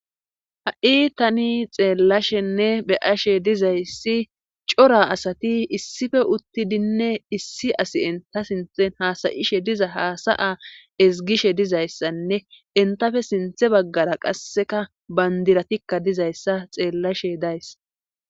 ha7i tani xeellashenne be7ashe dizayssi cora asati issipe uttidinne issi asi entha sinthen haasa7ishe diza haasa7a ezgishe dizayssanne entappe sinthe baggara qasseka bandiratikka dizayssa xeellashe days.